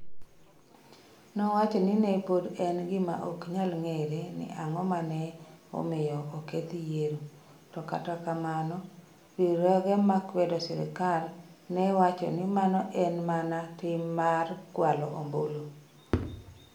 Nowacho ni ne pod en gima ok nyal ng'ere ni ang'o ma ne omiyo oketh yiero, to kata kamano, riwruoge makwedo sirkal ne wacho ni mano ne en mana tim mar kwalo ombulu.